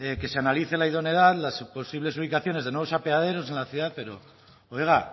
que se analice la idoneidad las posibles ubicaciones de nuevos apeaderos en la ciudad pero oiga